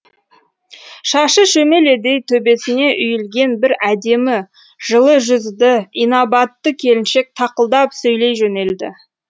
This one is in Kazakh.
шашы шөмеледей төбесіне үйілген бір әдемі жылы жүзді инабатты келіншек тақылдап сөйлей жөнелді